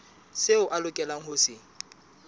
seo a lokelang ho se